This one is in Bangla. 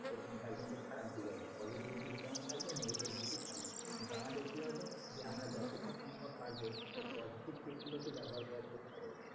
সেরকম তার খারাপ দিক আছে। positive দিক যেমন থাকবে। negative দিক ও থাকবে। কিন্তু আমাদের কি হবে দিয়ে আমরা যতটা সম্ভব পারবো ওর positive দিক গুলো ব্যবহার করার চেষ্টা করবো।